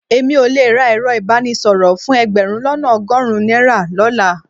Èmi ò le ra ẹ̀rọ ìbánisọ̀rọ̀ fún ẹgbẹ̀rún lọ́nà ọgọ́rùn-ún náírà lọ́la